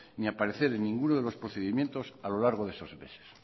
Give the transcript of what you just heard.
ni aparecer en ninguno de los procedimientos a lo largo de esos meses